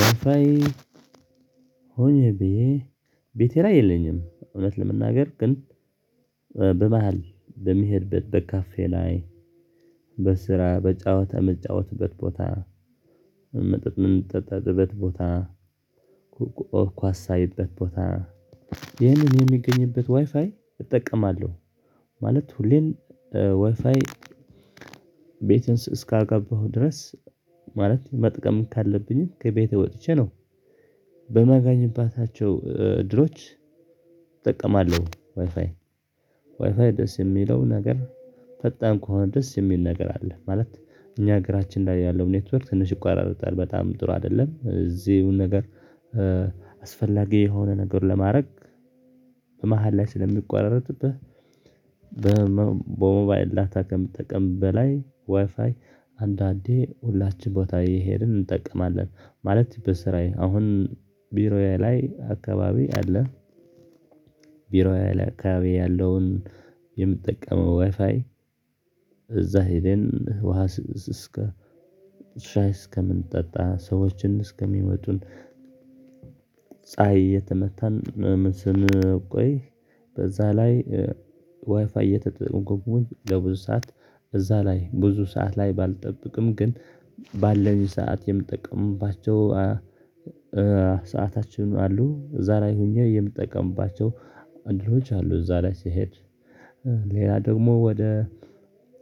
ዋይፋዬ ሆኜ ብዬ ቤቴ ላይ የለኝም። እውነት ለመናገር ግን በመሃል በሚሄድበት በካፌ ላይ በስራ በጨዋታ መጫወትበት ቦታ መጠጥም ምጠጣበት ቦታ ኮ ኳስ ሳይበት ቦታ ይህንን የሚገኝበት ዋይፋይ እጠቀማለሁ። ማለት ሁሌም ዋይፋይ ቤትን እስካገባሁ ድረስ ማለት መጠቀም ካለብኝም ከቤቴ ወጥቼ ነው በማጋኝባታቸው እድሎች እጠቀማለሁ ዋይፋይ ዋይፋይ ደስ የሚለው ነገር ፈጣን ከሆነ ደስ የሚል ነገር አለ። ማለት እኛ ሀገራችን ላይ ያለው ኔትወር ትንሽ ይቋረጥል በጣም ጥሩ አይደለም እዚሁን ነገር አስፈላጊ የሆነ ነገር ለማድረግ በመሃል ላይ ስለሚቋረጥብህ። በሞባይል ዳታ ከምትጠቀም በላይ ዋይፋይ አንዳንዴ ሁላችን ቦታ እየሄድን እንጠቀማለን ማለት በስራዬ አሁን ቢሮዬ ላይ አካባቢ አለ። ቢሮዬ ላይ ያለውን የምጠቀመው ዋይፋይ እዛ ሄደን ውሃ ስስከ እስከ ሻይ እስከምንጠጣ ሰዎችን እስከሚመጡን። ፀሀይ እየተመታን ስንቆይ በዛ ላይ ዋይፋይ እየተጠቀሙኝ ለብዙ ሰዓት እዛ ላይ ብዙ ሰዓት ላይ ባልጠብቅም ግን ባለኝ ሰዓት የምጠቅምባቸው ሰዓታችን አሉ እዛ ላይ ሆኜ የምጠቀምባቸው አድሎች አሉ። እዛ ላይ ስሄድ ሌላ ደግሞ ወደ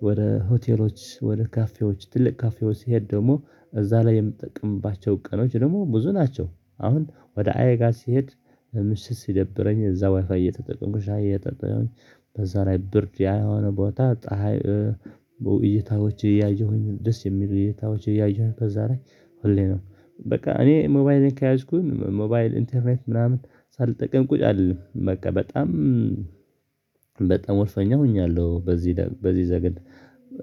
ወደ ሆቴሎች ወደ ካፌዎች ትልቅ ካፌዎች ሲሄድ ደግሞ እዛ ላይ የምትጠቅምባቸው ቀኖች ደግሞ ብዙ ናቸው። አሁን ወደ አየ ጋር ሲሄድ ምሽት ሲደብረኝ እዛ ዋይፋይ እየተጠቀምኩሽ ሻይ እየተጠቀምኩ በዛ ላይ ብርጅ ያልሆነ ቦታ ፀሀይ እይታዎች ያየሁኝ ደስ የሚሉ እይታዎች ያየሁኝ በዛ ላይ ሁሌ ነው። በቃ እኔ ሞባይልን ከያዥኩኝ ሞባይል ኢንተርኔት ምናምን ሳልጠቅም ቁጭ አልልም በቃ በጣም በጣም ወስኜ ሆኛለሁ። በዚህ በዚህ ነገር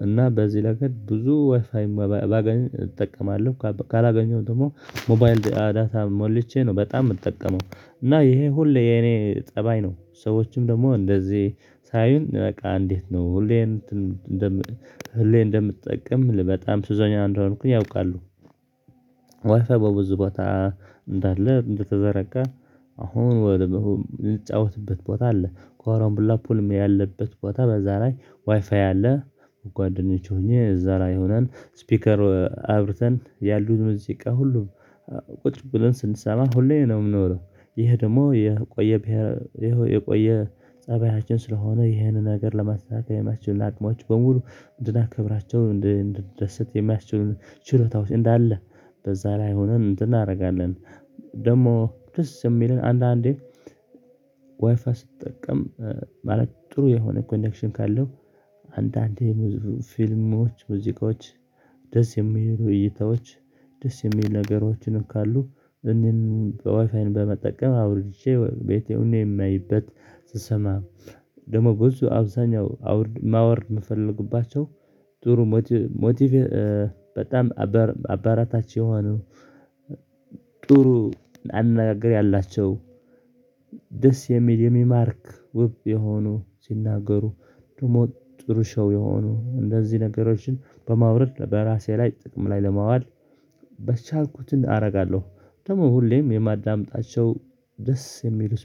እና በዚህ ነገር ብዙ ወይፋይም ባገኝው እጠቀማለሁ ካላገኘው ደግሞ ሞባይል ዳታ ሞልቼ ነው በጣም የምጠቀመው እና ይሄ ሁሌ የኔ ፀባይ ነው። ሰዎችም ደግሞ እንደዚህ ሳይሆን በቃ እንዴት ነው ሁሌም እንደም ሁሌ እንደምትጠቀም በጣም ሱሰኛ እንደሆንኩኝ ያውቃሉ። ዋይፋይ በብዙ ቦታ እንዳለ እንደተዘረጋ አሁን ወደምሆን የምንጫወትበት ቦታ አለ ኮረምቡላ ፑልም ያለበት ቦታ በዛ ላይ ዋይፋይ አለ። ጓደኞች ሆኜ እዛ ላይ ሆነን ስፒከር አብርተን ያሉት ሙዚቃ ሁሉ ቁጭ ብለን ስንሰማ ሁሌም ነው የምኖረው ይሄ ደግሞ የቆየ የቆየ ፀባያችን ስለሆነ ይሄንን ነገር ለማሳካት የማስችል አቅሞች በሙሉ እንድናከብራቸው እንድንደሰት የማያስችሉን ችሎታዎች እንዳለ በዛ ላይ ሆነን እንትን እናደርጋለን። ደግሞ ደስ የሚለን አንዳንዴ ዋይፋ ስትጠቀም ማለት ጥሩ የሆነ ኮኔክሽን ካለው አንዳንዴ ፊልሞች ሙዚቃዎች ደስ የሚሉ እይታዎች ደስ የሚል ነገሮችን ካሉ እኔን ዋይፋይን በመጠቀም አውርጄ ቤቴ ሆኜ የማይበት ስሰማ ደግሞ ብዙ አብዛኛው አውርድ ማወርድ የምፈልጉባቸው ጥሩ ሞቲቭ በጣም አበራታች የሆነው ጥሩ አናጋግር ያላቸው ደስ የሚል የሚማርክ ውብ የሆኑ ሲናገሩ ደግሞ ጥሩ ሰው የሆኑ እንደዚህ ነገሮችን በማውረድ በራሴ ላይ ጥቅም ላይ ለማዋል በቻልኩትን አደርጋለሁ። ደግሞ ሁሌም የማዳምጣቸው ደስ የሚሉት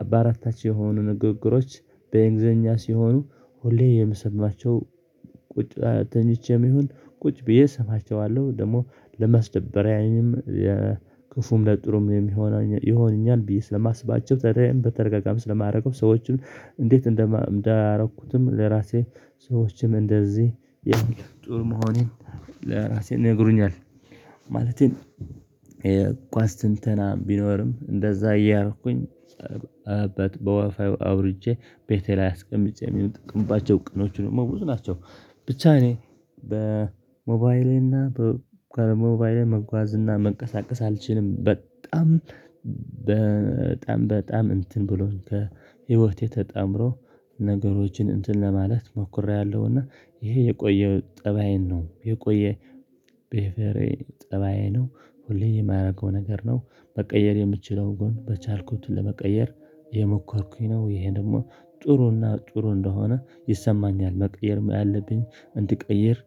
አበረታች የሆኑ ንግግሮች በእንግሊዘኛ ሲሆኑ ሁሌ የምሰማቸው ቁጭ ተኝቼም ይሁን ቁጭ ብዬ እሰማቸዋለሁ ደግሞ ለመስደብረኝም የክፉም ለጥሩም የሚሆነኝ ይሆነኛል። ብዬ ስለማስባቸው ተደራያዬን በተዳጋጋሚ ስለማደርገው ሰዎችን እንዴት እንዳደርግኩትም ለራሴ ሰዎችም እንደዚህ ያን ጥሩ መሆኔን ለራሴ ነግሮኛል ማለቴም የኳስ ትንተና ቢኖርም እንደዛ እያልኩኝ በወፍ አውርጄ ቤቴ ላይ አስቀምጬ የሚሉ ጥቅምባቸው ቅኖቹ ነው ብዙ ናቸው። ብቻ እኔ በሞባይሌና ከሞባይሌ መጓዝ እና መንቀሳቀስ አልችልም። በጣም በጣም በጣም እንትን ብሎን ከህይወቴ ተጣምሮ ነገሮችን እንትን ለማለት ሞክሬያለሁና ይሄ የቆየው ጠባዬ ነው የቆየ ቤሔቨሬ ጠባዬ ነው። ሁሌም የማደርገው ነገር ነው መቀየር የምችለው ጎን በቻልኩትን ለመቀየር የሞከርኩኝ ነው። ይሄ ደግሞ ጥሩና ጥሩ እንደሆነ ይሰማኛል መቀየር ያለብኝ እንድቀይር